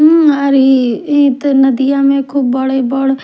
हुम आ री ई त नदिया में खूब बड़े बढ़--